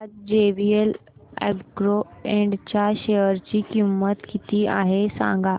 आज JVL agro Ind च्या share ची किंमत किती आहे सांगा